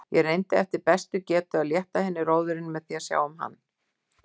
Ég reyndi eftir bestu getu að létta henni róðurinn með því að sjá um hann.